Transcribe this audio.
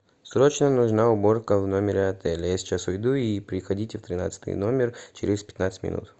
срочно нужна уборка в номере отеля я сейчас уйду и приходите в тринадцатый номер через пятнадцать минут